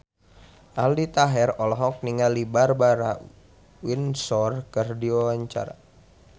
Aldi Taher olohok ningali Barbara Windsor keur diwawancara